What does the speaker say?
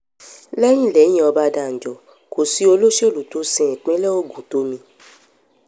um lẹ́yìn lẹ́yìn ọbadànjọ kò sí olóṣèlú tó sin ìpínlẹ̀ ogun tó mì um